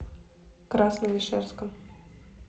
красновишерском